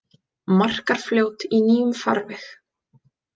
Markarfljót í nýjum farvegi